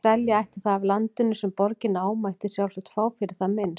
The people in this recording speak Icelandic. Ef selja ætti það af landinu, sem borgin á, mætti sjálfsagt fá fyrir það minnst